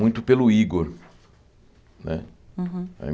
Muito pelo Igor, né? Uhum